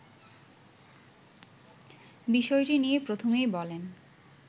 বিষয়টি নিয়ে প্রথমেই বলেন